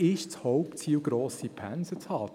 Es ist das Hauptziel, grosse Pensen zu haben;